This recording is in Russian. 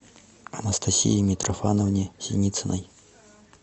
анастасии митрофановне синицыной